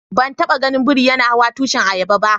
Ban taba gan biri yana hawan tushin ayaba ba.